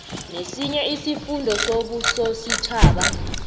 nesinye isifunda sombusositjhaba